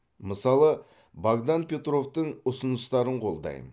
мысалы богдан петровтың ұсыныстарын қолдаймын